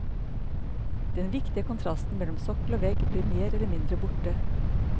Den viktige kontrasten mellom sokkel og vegg blir mer eller mindre borte.